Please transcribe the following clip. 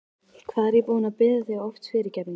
Hvað er ég búinn að biðja þig oft fyrirgefningar?